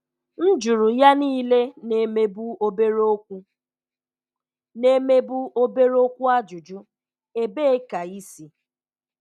M̀ jụrụ̀ ya niilè na-emèbù̀ obere-okwù na-emèbù̀ obere-okwù ajụ̀jụ̀: Ebeè ka ị̀ si?